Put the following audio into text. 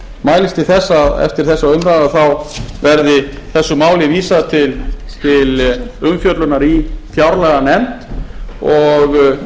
mælist til þess að eftir þessa umræðu þá verði þessu máli vísað til umfjöllunar í fjárlaganefnd og